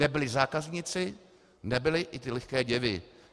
Nebyli zákazníci, nebyli i ty lehké děvy.